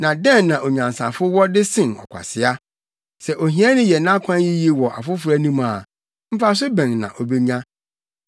Na dɛn na onyansafo wɔ de sen ɔkwasea? Sɛ ohiani yɛ nʼakwan yiye wɔ afoforo anim a mfaso bɛn na obenya?